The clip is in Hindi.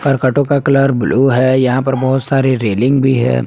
करकटो का कलर ब्लू है यहां पर बहुत सारी रेलिंग भी है।